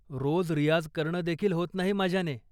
रोज रियाझ करणंदेखील होत नाही माझ्याने.